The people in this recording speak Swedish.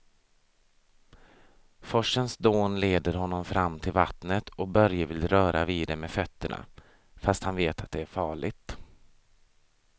Forsens dån leder honom fram till vattnet och Börje vill röra vid det med fötterna, fast han vet att det är farligt.